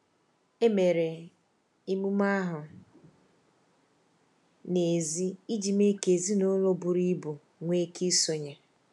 Emere emume ahụ n’èzí iji mee ka ezinụlọ buru ibu nwee ike isonye.